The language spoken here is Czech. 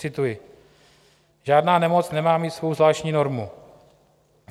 Cituji: Žádná nemoc nemá mít svou zvláštní normu.